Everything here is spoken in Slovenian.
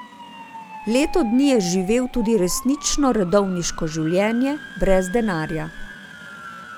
Leto dni je živel tudi resnično redovniško življenje, brez denarja.